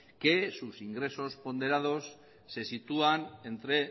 que sus ingresos ponderados se sitúan entre